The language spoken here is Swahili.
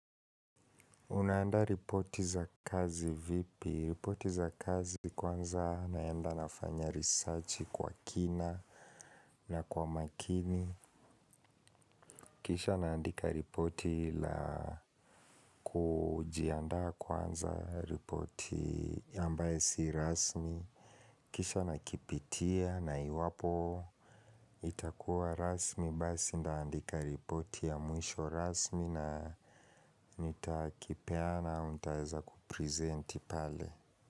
Unaandaa ripoti za kazi vipi? Ripoti za kazi kwanza naenda nafanya research kwa kina na kwa umakini. Kisha naandika ripoti la kujiandaa kuanza ripoti ambaye si rasmi. Kisha na kipitia na iwapo itakuwa rasmi. Basi ndaandika ripoti ya mwisho rasmi na nitakipeana untaeza kuprezenti pale.